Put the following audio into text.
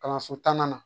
Kalanso tannan na